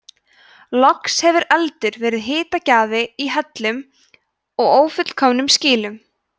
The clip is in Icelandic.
loks hefur eldur verið hitagjafi í hellum og ófullkomnum skýlum